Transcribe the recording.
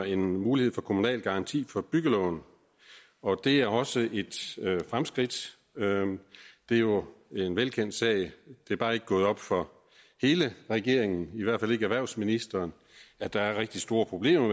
en mulighed for kommunal garanti for byggelån og det er også et fremskridt det er jo en velkendt sag det er bare ikke gået op for hele regeringen i hvert fald ikke erhvervsministeren at der er rigtig store problemer